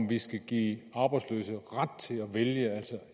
vi skal give arbejdsløse ret til at vælge altså